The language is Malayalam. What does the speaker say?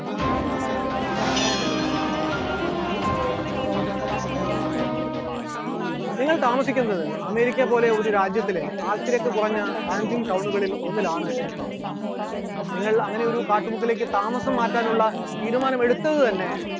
നിങ്ങൾ താമസിക്കുന്നത് അമേരിക്ക പോലെ ഒരു രാജ്യത്തിലെ ആൾത്തിരക്ക് കുറഞ്ഞ ആൻജിങ് town കളിൽ ഒന്നിൽ ആണ് എന്നുണ്ടെങ്കിൽ, നിങ്ങൾ അങ്ങനെയൊരു കാട്ടുമുക്കിലേക്ക് താമസം മാറ്റാനുള്ള തീരുമാനമെടുത്തത് തന്നെ